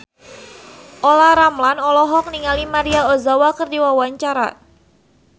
Olla Ramlan olohok ningali Maria Ozawa keur diwawancara